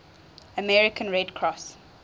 american red cross